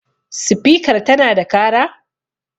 spikar tana da kara?